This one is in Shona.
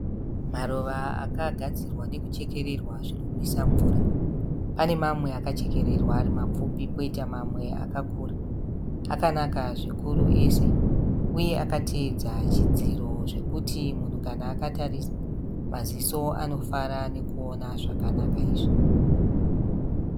Maruva akagadzirwa nechechekererwa zvinonwisa mvura. Pane mamwe akachekererwa arimapfupi poita mamwe akakura. Akanaka zvikuru ese, uye akateedza chidziro zvekuti munhu kana akatarisa, maziso anofara nekuona zvakanaka izvi.